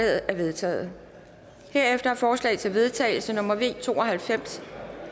er vedtaget herefter er forslag til vedtagelse nummer v to og halvfems